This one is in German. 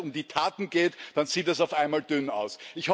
Also wenn es um die Taten geht, dann sieht es auf einmal dünn aus.